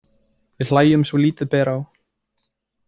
Við hlæjum svo lítið ber á.